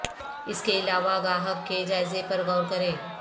اس کے علاوہ گاہک کے جائزے پر غور کریں